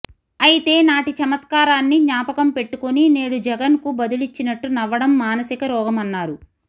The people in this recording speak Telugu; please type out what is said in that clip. అయితే నాటి చమత్కారాన్ని జ్ఞాపకం పెట్టుకుని నేడు జగన్ కు బదులిచ్చినట్టు నవ్వడం మానసిక రోగమన్నారు